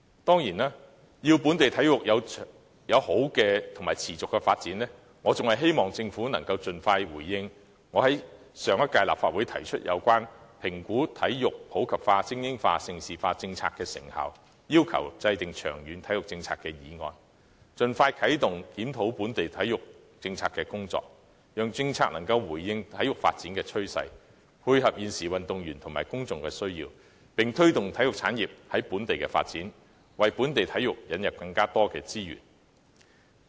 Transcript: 當然，為使本地體育有良好和持續的發展，我希望政府能盡快回應我在上屆立法會提出有關評估體育普及化、精英化、盛事化等政策的成效，以及要求制訂長遠體育政策的議案，以盡快啟動檢討本地體育政策的工作，讓政策能回應體育發展的趨勢，配合現時運動員和公眾的需要，並推動體育產業在本地的發展，為本地體育的發展開拓更多資源。